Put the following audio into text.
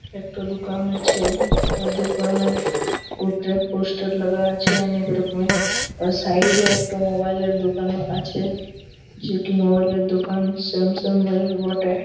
একটা দুকান আছে দুকানের উপরে পোস্টার লাগা আছে অনেকরকমের সাইড এ একটা মোবাইল এর দুকান আছে যেকি মবাইল -এঁর দোকান স্যামসাঙ -এঁর বটে।